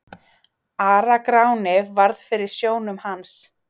Ara-Gráni varð fyrir sjónum hans.